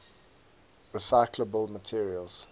recyclable materials